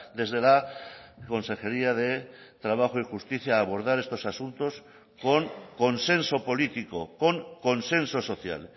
desde la consejería de trabajo y justicia abordar estos asuntos con consenso político con consenso social